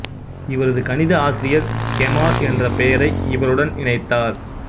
இவரது கணித ஆசிரியர் கெமால் என்ற பெயரை இவருடன் இணைத்தார்